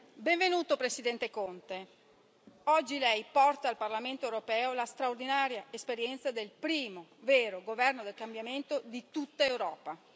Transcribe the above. Benvenuto Presidente Conte, oggi lei porta al Parlamento europeo la straordinaria esperienza del primo vero governo del cambiamento di tutta Europa.